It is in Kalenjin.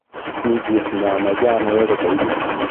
Mii kit ne amache anai agobo inye